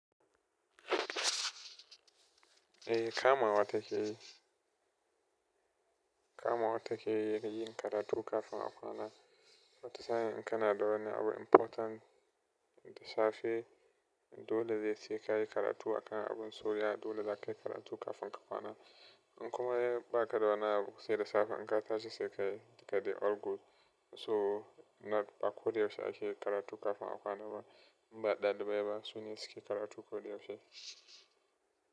Eh kama wa take yi, kama wa take yi na yin karatu kafin a kwana. Wata sa'in in kana da wani abu important da safe, dolene sa ka yi karatu a kana abun, so yeah. Dole za ka yi karatu kafin ka kwana. In kuma ya ba ka da wani abu sai da safe, in ka tashi sai ka yi. Duka dai all good. To, ba koda yaushe ake karatu kafin a kwana ba ba ɗalibai ba, sune suke karatu ko da yaushe.